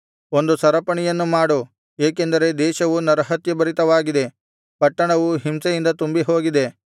ಒಂದು ಸರಪಣಿಯನ್ನು ಮಾಡು ಏಕೆಂದರೆ ದೇಶವು ನರಹತ್ಯಭರಿತವಾಗಿದೆ ಪಟ್ಟಣವು ಹಿಂಸೆಯಿಂದ ತುಂಬಿಹೋಗಿದೆ